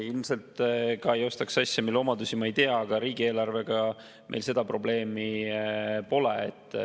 Ilmselt ma ei ostaks asja, mille omadusi ma ei tea, aga riigieelarvega meil seda probleemi pole.